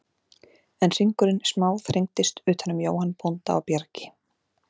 En hringurinn smá þrengdist utan um Jóhann bónda á Bjargi.